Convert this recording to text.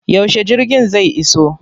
Yaushe jirgin zai iso?